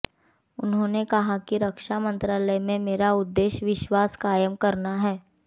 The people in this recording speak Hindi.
उन्होंने कहा कि रक्षा मंत्रालय में मेरा उद्देश्य विश्वास कायम करना है